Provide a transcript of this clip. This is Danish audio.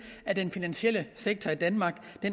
at den finansielle sektor i danmark